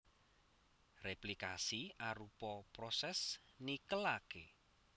Réplikasi arupa prosès nikelaké